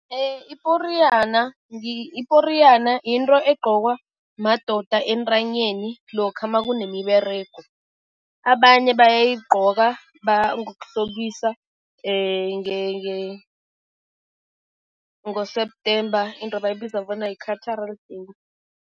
Iporiyana iporiyana yinto egqokwa madoda entanyeni lokha makunemiberego. Abanye bayayigqoka ngokuhlobisa ngo-September, into ebayibiza bona yi-cultural day.